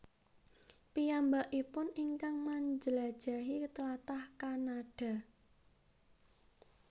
Piyambakipun ingkang manjlajahi tlatah Kanada